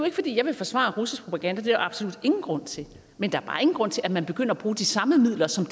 ikke fordi jeg vil forsvare russisk propaganda jeg absolut ingen grund til men der er bare ingen grund til at man begynder at bruge de samme midler som